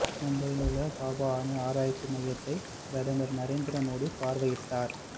மும்பையில் உள்ள பாபா அணு ஆராய்ச்சி மையத்தை பிரதமர் நரேந்திர மோடி பார்வையிட்டார்